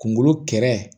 Kungolo kɛrɛ